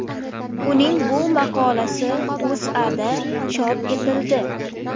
Uning bu maqolasi O‘zAda chop etildi .